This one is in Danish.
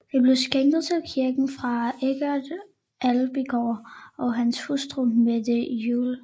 Det blev skænket til kirken af Eggert Abildgaard og hans hustru Mette Juel